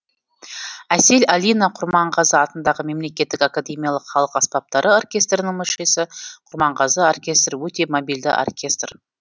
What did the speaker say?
әсел алина құрманғазы атындағы мемлекеттік академиялық халық аспаптары оркестрінің мүшесі құрманғазы оркестрі өте мобильді оркестр